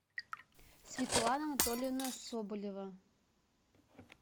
светлана анатольевна соболева